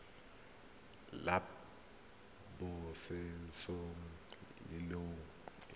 la pabalesego le loago e